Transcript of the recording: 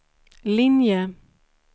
linje